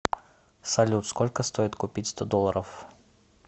салют сколько стоит купить сто долларов